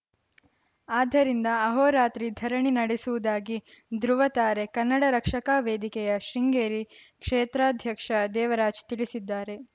ಆದ್ದರಿಂದ ಆಹೋರಾತ್ರಿ ಧರಣಿ ನಡೆಸುವುದಾಗಿ ಧೃವತಾರೆ ಕನ್ನಡ ರಕ್ಷಕಾ ವೇದಿಕೆಯ ಶೃಂಗೇರಿ ಕ್ಷೇತ್ರಾಧ್ಯಾಕ್ಷ ದೇವರಾಜ್‌ ತಿಳಿಸಿದ್ದಾರೆ